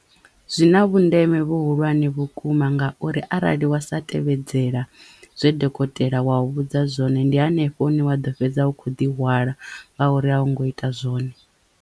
Zwina vhundeme vhuhulwane vhukuma ngauri arali wa sa tevhedzela zwe dokotela wa u vhudza zwone ndi hanefho hune wa ḓo fhedza u kho ḓi hwala ngauri a wu ngo ita zwone.